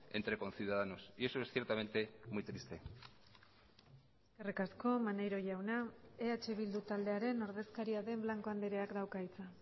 entre conciudadanos y eso es ciertamente muy triste eskerrik asko maneiro jauna eh bildu taldearen ordezkaria den blanco andreak dauka hitza